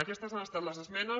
aquestes han estat les esmenes